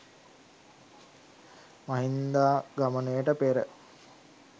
මහින්දාගමනයට පෙර